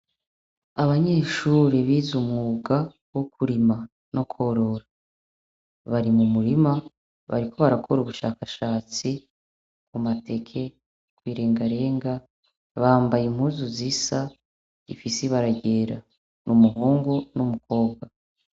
Abanyeshure bize umwuga wokurima no korora bari mumurima baruko barakora ubushakashatsi mamateke ,irengarenga bambaye impuzu zisa, rifise ibara ryera, umuhungu numukobwa.